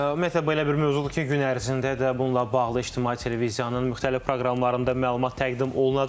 Ümumiyyətlə belə bir mövzudur ki, gün ərzində də bununla bağlı ictimai televiziyanın müxtəlif proqramlarında məlumat təqdim olunacaq.